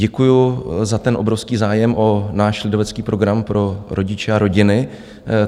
Děkuji za ten obrovský zájem o náš lidovecký program pro rodiče a rodiny.